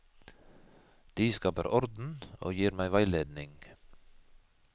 De skaper orden og gir meg veiledning.